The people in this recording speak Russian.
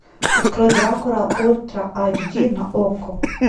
открой дракула ультра айч ди на окко